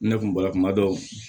Ne kun bara kuma dɔ